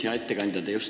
Hea ettekandja!